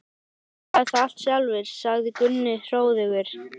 Ég skrifaði það allt sjálfur, sagði Gunni hróðugur.